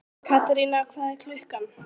Katerína, hvað er klukkan?